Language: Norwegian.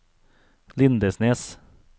Lindesnes